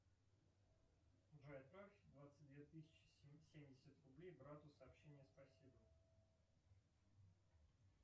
джой отправь двадцать две тысячи семьдесят рублей брату с сообщением спасибо